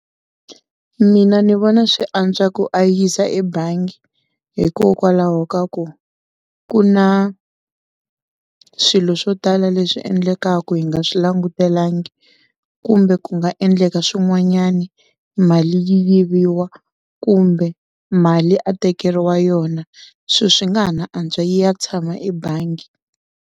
Mina ni vona swi antswa ku a yisa ebangi, hikokwalaho ka ku ku na swilo swo tala leswi endlekaka hi nga swi langutelangi, kumbe ku nga endleka swin'wanyani mali yi yiviwa, kumbe mali a tekeriwa yona sweswo swi nga ha na antswa yi ya tshama ebangi.